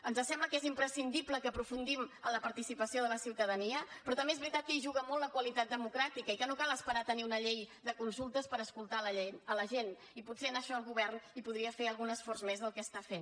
ens sembla que és imprescindible que aprofundim en la participació de la ciutadania però també és veritat que hi juga molt la qualitat democràtica i que no cal esperar a tenir una llei de consultes per escoltar la gent i potser en això el govern hi podria fer algun esforç més del que està fent